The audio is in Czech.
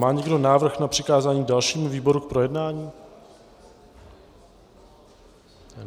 Má někdo návrh na přikázání dalšímu výboru k projednání?